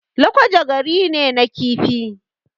Lakwaja gari ne na kifi